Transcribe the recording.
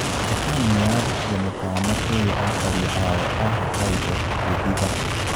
Japan niyarutire mũkana kũri aikari ayo a Hokkaido kũihitha.